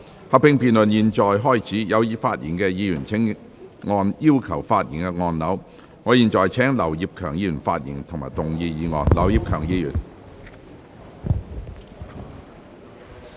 合併辯論現在開始，有意發言的議員請按"要求發言"按鈕。我現在請劉業強議員發言及動議議案。